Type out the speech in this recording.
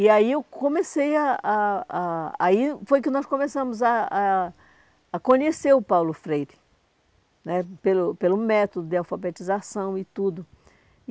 E aí eu comecei a... A a aí foi que nós começamos a a a conhecer o Paulo Freire né, pelo pelo método de alfabetização e tudo.